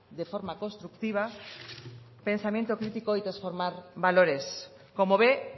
de forma constructiva pensamiento crítico y transformar valores como ve